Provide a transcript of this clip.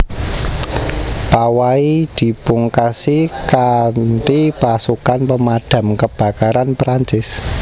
Pawai dipungkasi kanthipasukan Pemadam Kebakaran Perancis